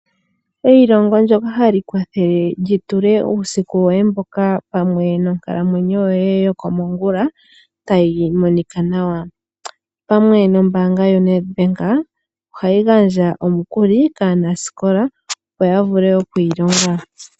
Eilongo lyoka hali kwathele lyi tule uusiku woye mboka pamwe nonkalamwenyo yoye yokomongula tayi monika nawa. Opamwe nombaanga yoNedBank ohayi gandja omikuli kaanasikola